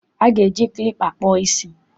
A ga-eji klipa kpụọ isí.